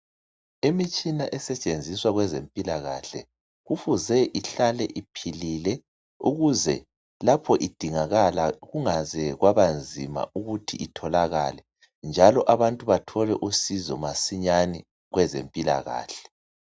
Imitshina esetshenziswa kwezempilakahle kufuze ihlale iphilile ukuze lapho idingakala kungaze kwaba nzima ukuthi itholakale, njalo abantu bathole usizo masinyane kwezempilakahle.